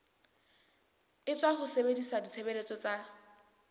etswa ho sebedisa ditshebeletso tsa